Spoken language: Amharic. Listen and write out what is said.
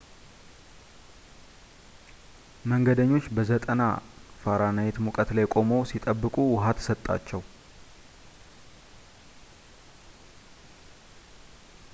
መንገደኞች በ 90f-ሙቀት ላይ ቆመው ሲጠብቁ ውሃ ተሰጣቸው፡፡